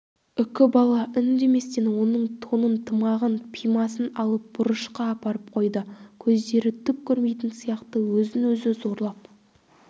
үкібала үндеместен оның тонын тымағын пимасын алып бұрышқа апарып қойды көздері түк көрмейтін сияқты өзін-өзі зорлап